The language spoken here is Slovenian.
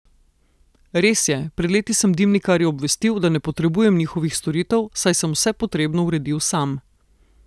Res je, pred leti sem dimnikarje obvestil, da ne potrebujem njihovih storitev, saj sem vse potrebno uredil sam.